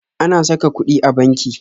Ana sa ka kuɗi a banki